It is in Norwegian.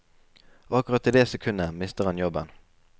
Og akkurat i det sekundet mister han jobben.